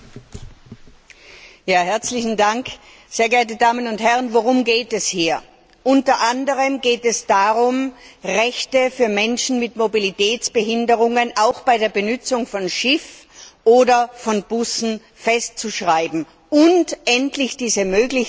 Herr Präsident, sehr geehrte Damen und Herren! Worum geht es hier? Unter anderem geht es darum, Rechte für Menschen mit Mobilitätsbehinderungen auch bei der Benutzung von Schiffen oder von Bussen festzuschreiben und diese Möglichkeiten endlich über